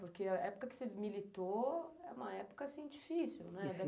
Porque a época que você militou é uma época assim difícil, né?